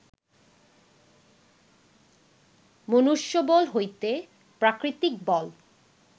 মনুষ্যবল হইতে প্রাকৃতিক বল